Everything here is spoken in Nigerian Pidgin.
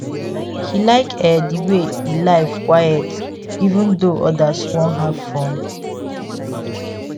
he like e the way e life quite even though others won have fun